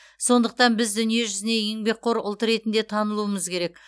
сондықтан біз дүние жүзіне еңбекқор ұлт ретінде танылуымыз керек